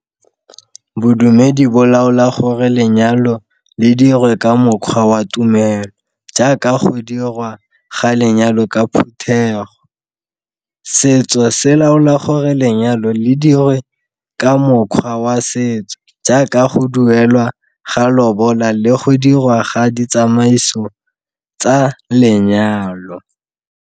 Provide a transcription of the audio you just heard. Bodumedi bo laola gore lenyalo le dirwe ka mokgwa wa tumelo jaaka go dirwa ga lenyalo ka phuthego. Setso se laola gore lenyalo le dirwe ka mokgwa wa setso jaaka go duelwa ga lobola le go dirwa ga ditsamaiso tsa lenyalo.